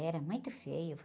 Era muito feio.